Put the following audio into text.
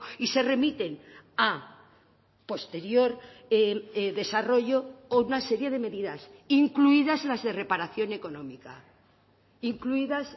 y se remiten a posterior desarrollo o una serie de medidas incluidas las de reparación económica incluidas